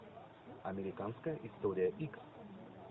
американская история икс